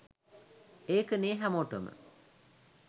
ඒකනේ හැමෝටම